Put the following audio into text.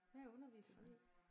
Hvad underviser du i?